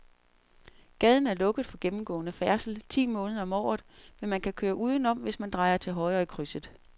Gaden er lukket for gennemgående færdsel ti måneder om året, men man kan køre udenom, hvis man drejer til højre i krydset.